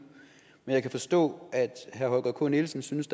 men jeg kan forstå at herre holger k nielsen synes